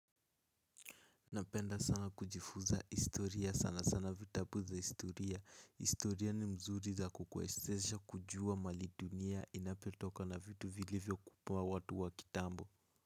Napenda sana kujifuza istoria sana sana vitabu za istoria istoria ni mzuri za kukwesesha kujua mali dunia inapetoka na vitu vilivyo kupua watu wa kitambo.